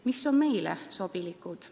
Mis on meile sobilikud?